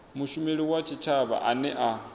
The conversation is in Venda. mushumeli wa tshitshavha ane a